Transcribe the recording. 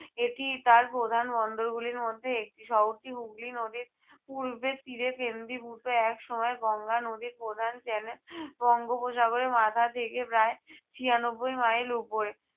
এটি তার প্রধান বন্দরগুলির মধ্যে একটি। শহরটি হুগলি নদীর পূর্বের তীরে কেন্দ্রীভূত। এক সময় গঙ্গা নদীর প্রধান channel বঙ্গোপসাহরের মাথা থেকে প্রায় ছিয়ানব্বই mile উপরে